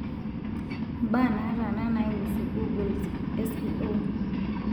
mbaa nataana naiusu googles s.e.o